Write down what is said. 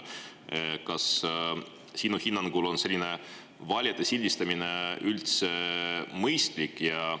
Kas sinu hinnangul on selline valijate sildistamine üldse mõistlik?